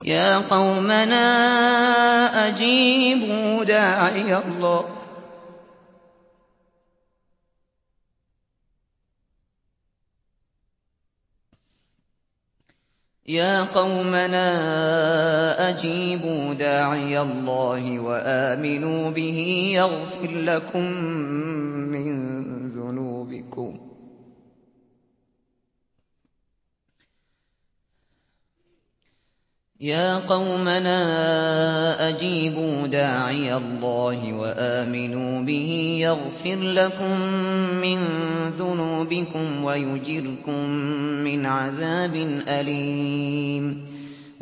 يَا قَوْمَنَا أَجِيبُوا دَاعِيَ اللَّهِ وَآمِنُوا بِهِ يَغْفِرْ لَكُم مِّن ذُنُوبِكُمْ وَيُجِرْكُم مِّنْ عَذَابٍ أَلِيمٍ